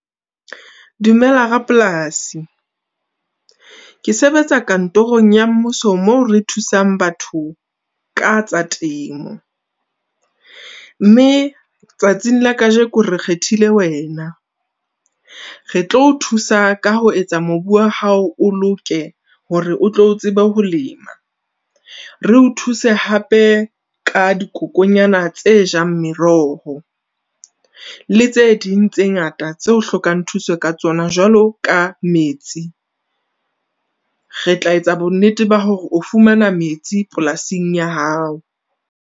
Dumela rapolasi. Ke sebetsa kantorong ya mmuso, moo re thusang batho ka tsa temo. Mme tsatsing la kajeko re kgethile wena, re tlo o thusa ka ho etsa mobu wa hao o loke hore o tlo tsebe ho lema. Re o thuse hape ka dikokonyana tse jang meroho, le tse ding tse ngata tse o hlokang thuso ka tsona. Jwalo ka metsi, re tla etsa bonnete ba hore o fumana metsi polasing ya hao.